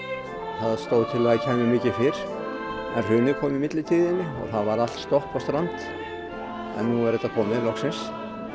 það stóð til að það kæmi miklu fyrr en hrunið kom í milltíðinni og það var allt stopp og strand en nú er þetta komið loksins